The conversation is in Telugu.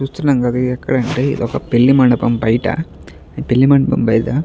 చూస్తున్నాం కదా ఎక్కడంటే ఒక పెళ్లి మండపం బయట ఈ పెళ్లి మండపం బయట --